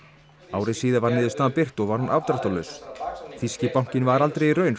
ári síðar var niðurstaðan birt og var hún afdráttarlaus þýski bankinn var aldrei í raun